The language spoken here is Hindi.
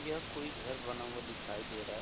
यह कोई घर बना हुआ दिखाई दे रहा है।